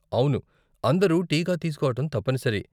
అవును, అందరూ టీకా తీసుకోవటం తప్పనిసరి.